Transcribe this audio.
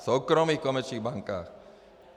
V soukromých komerčních bankách.